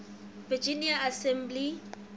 virginia general assembly